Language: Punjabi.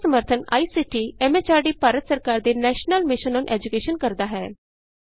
ਇਸ ਦਾ ਸਮਰੱਥਨ ਆਈਸੀਟੀ ਐਮ ਐਚਆਰਡੀ ਭਾਰਤ ਸਰਕਾਰ ਦੇ ਨੈਸ਼ਨਲ ਮਿਸ਼ਨ ਅੋਨ ਏਜੂਕੈਸ਼ਨ ਕਰਦਾ ਹੈ